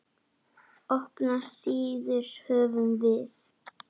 Opnar síður höfum við.